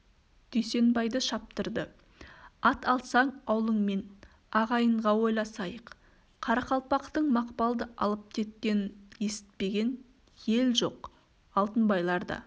дүйсенбайды шаптырды ат алсаң аулыңмен ағайынға ойласайық қарақалпақтың мақпалды алып кеткенін есітпеген ел жоқ алтынбайлар да